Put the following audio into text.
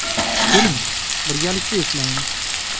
Keling, birgalikda eslaymiz.